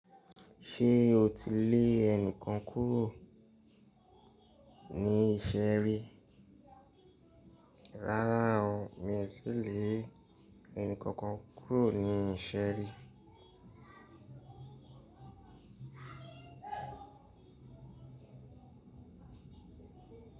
Ṣé o ti lè ẹnìkan kúrò ní ìṣe ri? Rárá o, mi ò tí lè ẹni kankan kúrò ní ìṣe rí.